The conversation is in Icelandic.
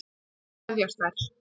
Svo kveðjast þær.